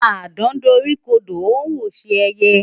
Àdán doríkodò ó ń wòṣe ẹyẹ.